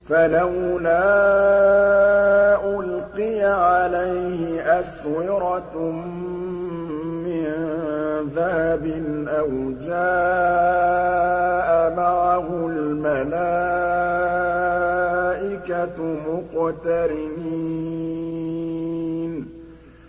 فَلَوْلَا أُلْقِيَ عَلَيْهِ أَسْوِرَةٌ مِّن ذَهَبٍ أَوْ جَاءَ مَعَهُ الْمَلَائِكَةُ مُقْتَرِنِينَ